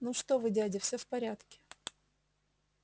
ну что вы дядя всё в порядке